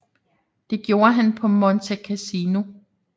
Det gjorde han på Monte Cassino